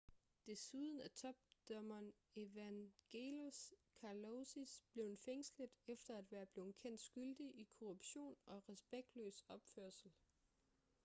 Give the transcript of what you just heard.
desuden er topdommeren evangelos kalousis blevet fængslet efter at være blevet kendt skyldig i korruption og respektløs opførsel